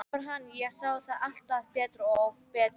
Þetta var hann, ég sá það alltaf betur og betur.